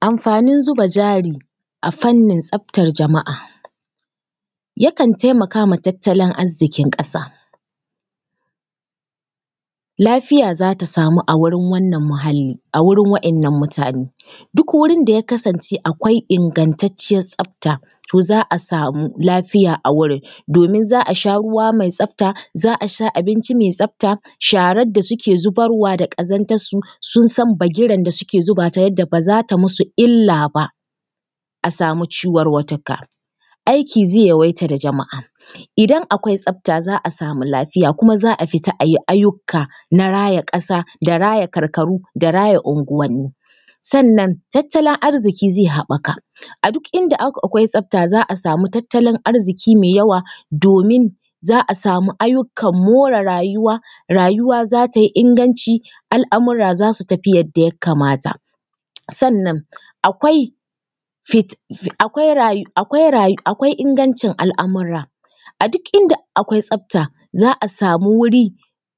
Amfanin zuba jari a fannin tsaftar jama’a yakan taimaka ma tattalin arziƙin ƙasa. Lafiya za ta samu a wurin wannan muhalli, a wurin waɗannan mutane. Duk wurin da ya kasance akwai ingantacciyar tsafta, to za a samu lafiya a wurin, domin za a sha ruwa mai tsafta, za a sha abinci mai tsafta, sharar da suke zubarwa da ƙazantarsu sun san bagiren da suke zubata, yadda ba za ta musu illa ba a samu ciwarwatuka. Aiki zai yawaita ga jama’a, idan akwai tsafta za a samu lafiya kuma za a fita a yi ayyuka na raya ƙasa da raya karkaru da raya unguwanni. Sannan tattalin arziki zai haɓaka, a duk inda akwai tsafta za a sau tattalin arziki mai yawa domin za a samu ayyukan more rayuwa, rayuwa za ta yi inganci, al’amura za su tafi yadda ya kamata. Sannan akwai ingancin al’amura, a duk inda akwai tsafta za a samu wuri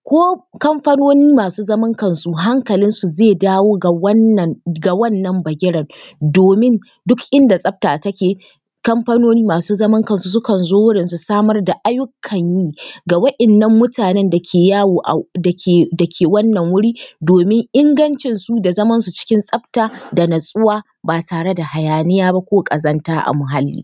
ko kamfanooni masu zaman kansu hankalinsu zai dawo ga wannan bagiren, domin duk inda tsafta take, kamfanoni masu zaman kansu sukan zo wurin su samar da ayyukan yi ga waɗannan mutanen da ke yawo… da ke… da ke wannan wuri, domin ingancinsu da zamansu cikin tsafta da natsuwa ba tare da hayaniya ba ko ƙazanta a muhalli.